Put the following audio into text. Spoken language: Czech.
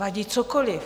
Vadí cokoliv.